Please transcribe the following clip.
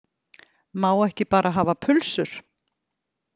Má ekki bara hafa pulsur